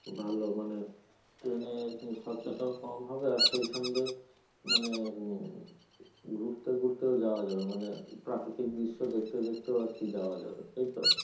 ভাল মানে train এ উম খরচাটাও কম হবে আর সেই সঙ্গে মানে উম ঘুরতে ঘুরতেও যাওয়া যাবে মানে প্রাকৃতিক দৃশ্য দেখতে দেখতেও আর কি যাওয়া যাবে তাই তো?